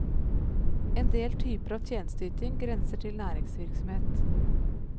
En del typer av tjenesteyting grenser til næringsvirksomhet.